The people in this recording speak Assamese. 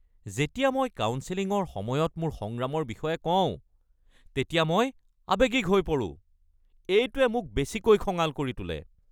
যেতিয়া মই কাউন্সেলিঙৰ সময়ত মোৰ সংগ্ৰামৰ বিষয়ে কওঁ তেতিয়া মই আৱেগিক হৈ পৰো। এইটোৱে মোক বেছিকৈ খঙাল কৰি তোলে।